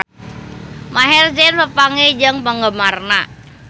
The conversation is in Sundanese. Maher Zein papanggih jeung penggemarna